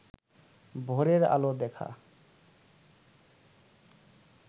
ভোরের আলো দেখা